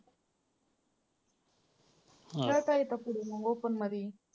खेळता येतं पुढे मग open मध्ये.